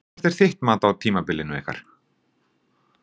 Hvert er þitt mat á tímabilinu ykkar?